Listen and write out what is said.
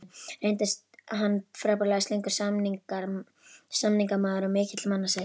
Reyndist hann frábærlega slyngur samningamaður og mikill mannasættir.